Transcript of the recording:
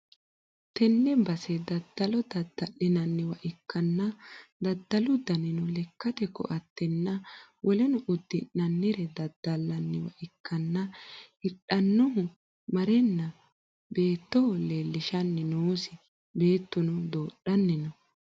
tenne base daddalo dadda'linanniwa ikkanna, daddalu danino lekkate ko'attenna woleno uddi'nannire daddallanniwa ikkanna , hidhannohu mareenna beettoho leellishshanni noosi, beettuno doodhanni no.